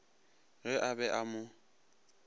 ge a be a mo